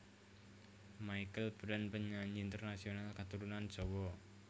Michelle Branch Penyanyi internasional katurunan Jawa